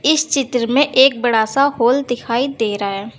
इस चित्र में एक बड़ा सा हॉल दिखाई दे रहा है।